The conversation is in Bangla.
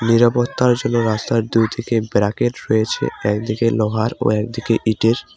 নিরাপত্তার জন্য রাস্তার দুই দিকে ব্যারিকেড রয়েছে একদিকে লোহার ও একদিকে ইটের।